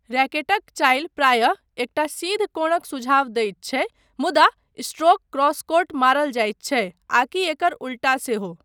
रैकेटक चालि प्रायः एकटा सीध कोणक सुझाव दैत छै मुदा स्ट्रोक क्रॉसकोर्ट मारल जाइत छै आकि एकर उल्टा सेहो।